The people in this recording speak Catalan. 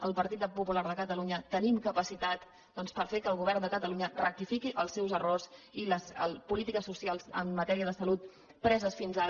el partit popular de catalunya tenim capacitat doncs per fer que el govern de catalunya rectifiqui els seus errors i les polítiques socials en matèria de salut preses fins ara